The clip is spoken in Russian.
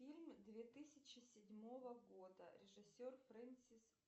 фильм две тысячи седьмого года режиссер фрэнсис